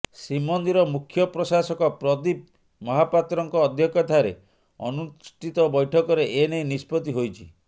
ଶ୍ରୀମନ୍ଦିର ମୁଖ୍ୟ ପ୍ରଶାସକ ପ୍ରଦୀପ ମହାପାତ୍ରଙ୍କ ଅଧ୍ୟକ୍ଷତାରେ ଅନୁଷ୍ଠିତ ବୈଠକରେ ଏନେଇ ନିଷ୍ପତ୍ତି ହୋଇଛି